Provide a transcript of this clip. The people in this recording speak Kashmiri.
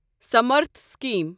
سَمارتھ سِکیٖم